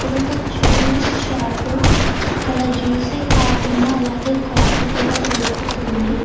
ఇదొక juice shop ఇక్కడ ఎ కాకుండా అలాగే కాఫీ కూడా దొరుకుతుంది.